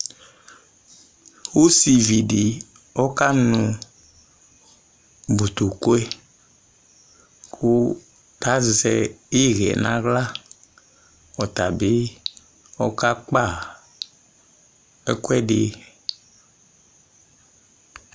Osivi di ɔkanu botokɔe Ku tazɛ ihɛ nawla ɔtabi ɔkakpa ɛkuɛdi